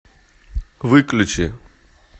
выключи